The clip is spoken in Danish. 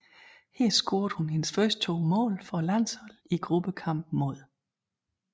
Her scorede hun hendes første to mål for landsholdet i gruppekampen mod